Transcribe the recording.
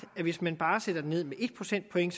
at hvis man bare sætter den ned med en procentpoint